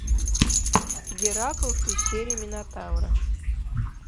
геракл в пещере минотавра